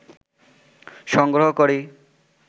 সংগ্রহ করি